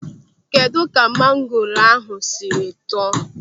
Kedụ ka mangoro ahụ sịrị tọọ?